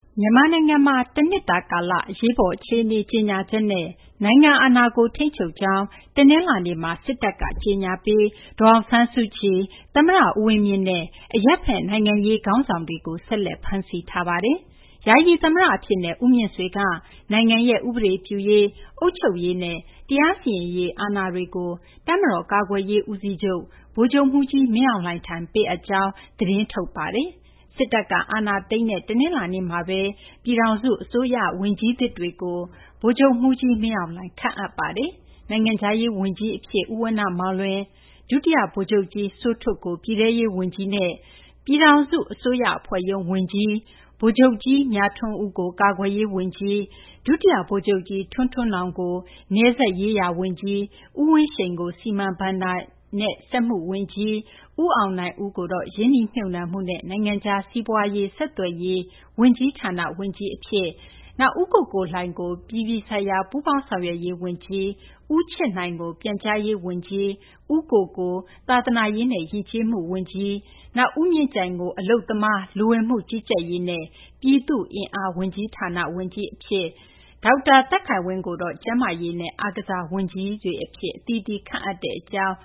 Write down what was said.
မြန်မာနိုင်ငံမှာ တနှစ်တာ ကာလ အရေးပေါ် အခြေအနေ ကြေညာချက်နဲ့ နိုင်ငံ အာဏာကို ထိန်းချုပ်ကြောင်း တနလာၤနေ့မှာ စစ်တပ်က ကြေညာပြီး ဒေါ်အောင်ဆန်းစုကြည်၊ သမ္မတ ဦးဝင်းမြင့်နဲ့ အရပ်ဘက် နိုင်ငံရေး ခေါင်းဆောင်တွေကို ဆက်လက် ဖမ်းဆီးထားပါတယ်။ ယာယီ သမ္မတ အဖြစ်နဲ့ ဦးမြင့်ဆွေက နိုင်ငံရဲ့ ဥပဒေပြုရေး၊ အုပ်ချုပ်ရေးနဲ့ တရားစီရင်ရေး အာဏာတွေကို တပ်မတော် ကာကွယ်ရေး ဦးစီးချုပ် ဗိုလ်ချုပ်မှူးကြီး မင်းအောင်လှိုင်ထံ ပေးအပ်ကြောင်း သတင်း ထုတ်ခဲ့ပါတယ်။ စစ်တပ်က အာဏာသိမ်းလိုက်တဲ့ တနင်္လာနေ့မှာပဲ ပြည်ထောင်စု အစိုးရဝန်ကြီးသစ်တွေကို ဗိုလ်ချုပ်မှူးကြီးမင်းအောင်လှိုင် ခန့်အပ် တာဝန်ပေးလိုက်ပါတယ်။ နိုင်ငံခြားရေးဝန်ကြီးဌာန ဝန်ကြီးအဖြစ် ဦးဝဏ္ဏမောင်လွင်၊ ဒုတိယဗိုလ်ချုပ်ကြီး စိုးထွဋ်ကိုတော့ ပြည်ထဲရေးဝန်ကြီးဌာနနဲ့ ပြည်ထောင်စုအစိုးရအဖွဲ့ရုံး ဝန်ကြီးဌာနဝန်ကြီး၊ ဗိုလ်ချုပ်ကြီး မြထွန်းဦးကို ကာကွယ်ရေး ဝန်ကြီးဌာန၊ ဒုတိယဗိုလ်ချုပ်ကြီး ထွန်းထွန်းနောင်ကို နယ်စပ်ရေးရာ ဝန်ကြီးဌာနဝန်ကြီး၊ ဦးဝင်းရှိန်ကို စီမံကိန်း၊ ဘဏ္ဍာရေးနဲ့ စက်မှုဝန်ကြီးဌာန၊ ဦးအောင်နိုင်ဦး ရင်းနှီးမြှုပ်နှံမှုနဲ့ နိုင်ငံခြားစီးပွား ဆက်သွယ်ရေးဝန်ကြီးဌာနဝန်ကြီး၊ ဦးကိုကိုလှိုင်ကို အပြည်ပြည်ဆိုင်ရာ ပူးပေါင်းဆောင်ရွက်ရေး ဝန်ကြီးဌာန၊ ဦးချစ်နိုင် ပြန်ကြားရေး ဝန်ကြီးဌာန၊ ဦးကိုကို သာသနာရေးနဲ့ ယဉ်ကျေးမှု ဝန်ကြီးဌာန၊ ဦးမြင့်ကြိုင် အလုပ်သမား၊ လူဝင်မှုကြီးကြပ်ရေးနဲ့ ပြည်သူ့အင်အား ဝန်ကြီးဌာန၊ ဒေါက်တာ သက်ခိုင်ဝင်း ကျန်းမာရေးနဲ့ အားကစားဝန်ကြီး ဌာနဝန်ကြီးတွေအဖြစ်နဲ့ အသီးသီး ခန့်အပ်လိုက်တဲ့အကြောင်း